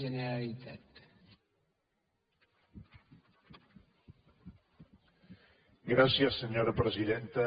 gràcies senyora presidenta